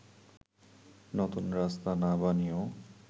নতুন রাস্তা না বানিয়েও